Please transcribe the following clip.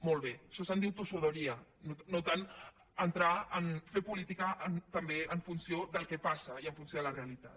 molt bé d’això se’n diu tossuderia no tant entrar a fer política també en funció del que passa i en funció de la realitat